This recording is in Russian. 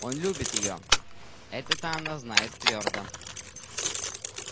он любит её это-то она знает твёрдо